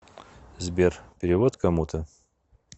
сбер перевод кому то